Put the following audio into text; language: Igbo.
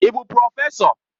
Ị bụ prọfesọ?